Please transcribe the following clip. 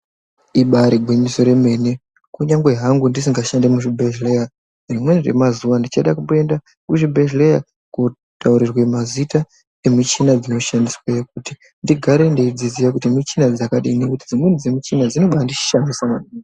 Ibaari gwinyiso remene, kunyange hangu ndisingashandi muzvibhedhleya , rimweni remazuwa ndichada kumboenda muzvibhedhleya ,kootaurirwe mazita emishina dzinoshandisweyo kuti ndigare ndeidziziya kuti michina dzakadini ,ngekuti dzimweni dzemichina dzinobaandishamisa..